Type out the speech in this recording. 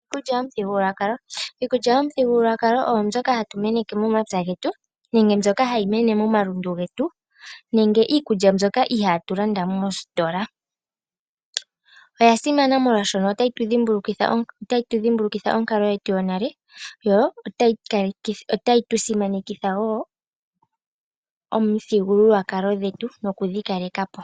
Iikulya mlyomuthigululwakalo. Iikulya yomuthigululwakalo oyo mbyoka hatu meneke momapya getu nenge mbyoka hayi mene momalundu getu nenge iikulya mbyoka ihatu landa moositola. Oyasimana molwaashoka otayi tu dhimbulukitha onkalo yetu yonale yo otayi tu simanekitha wo omithigululwakalo dhetu nokudhi kalekapo.